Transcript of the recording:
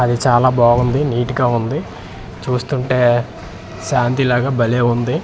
అది చాలా బాగుంది నీట్ గా ఉంది చూస్తుంటే శాంతి లాగ భలే ఉంది.